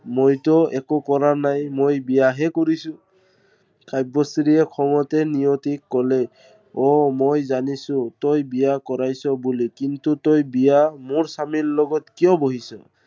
মইতো একো কৰা নাই, মই বিয়াহে কৰিছো। কাব্যশ্ৰীয়ে খঙতে নিয়তিক কলে অ মই জানিছো, তই বিয়া কৰিছ বুলি কিন্তু তই বিয়া মোৰ স্বামীৰ লগত কিয় বহিছ?